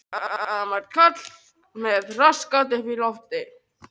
Við Tommi bróðir fengum lítið herbergi hjá afa og ömmu.